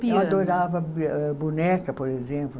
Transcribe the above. Piano. Eu adorava boneca, por exemplo.